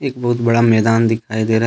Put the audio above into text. एक बहुत बड़ा मैदान दिखाई दे रहा है।